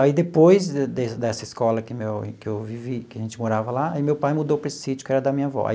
Aí depois dessa escola que o meu que eu vivi, que a gente morava lá, aí meu pai mudou para esse sítio que era da minha avó aí.